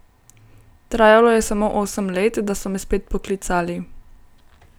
Trajalo je samo osem let, da so me spet poklicali.